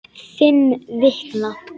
Fimm vikna